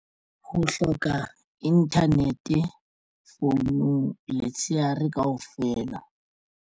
Ho hloka internet founung letshehare kaofela.